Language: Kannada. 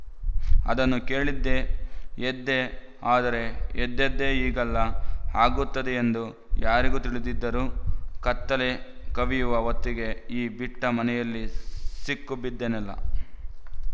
ಅದನ್ನು ಕೇಳಿದ್ದೇ ಎದ್ದೆ ಆದರೆ ಎದ್ದದ್ದೇ ಹೀಗೆಲ್ಲ ಆಗುತ್ತದೆಯೆಂದು ಯಾರು ತಿಳಿದಿದ್ದರು ಕತ್ತಲೆ ಕವಿಯುವ ಹೊತ್ತಿಗೆ ಈ ಬಿಟ್ಟ ಮನೆಯಲ್ಲಿ ಸಿಕ್ಕುಬಿದ್ದೆನಲ್ಲ